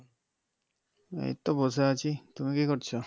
এইতো বসে আছি তুমি কি করছো